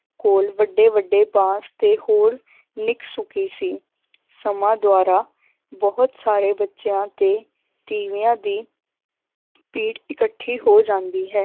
ਕੋਲ ਵੱਡੇ ਵੱਡੇ ਬਾਂਸ ਤੇ ਹੋਰ ਨਿੱਕ ਸੁੱਕੀ ਸੀ ਸਮਾਂ ਦੁਆਰਾ ਬਹੁਤ ਸਾਰੇ ਬੱਚਿਆਂ ਤੇ ਤੀਵਿਆਂ ਦੀ ਭੀੜ ਇਕੱਠੀ ਹੋ ਜਾਂਦੀ ਹੈ,